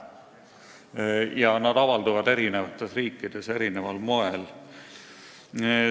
Ja nad avalduvad eri riikides erineval moel.